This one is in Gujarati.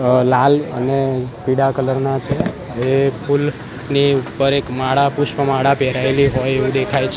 અ લાલ અને પીળા કલર ના છે એ ફુલની ઉપર એક માળા પુષ્પ માળા પહેરાઈલી હોય એવુ દેખાય છ --